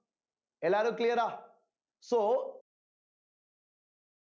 எல்லாரும் clear ஆ so